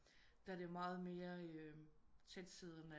Der er det meget mere tætsiddende